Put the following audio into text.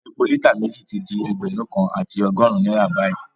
Epo lítà méjì ti ju ẹgbẹ̀rún kan àti ọgọ́rùn-ún náírà báyìí